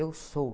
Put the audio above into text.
Eu sou.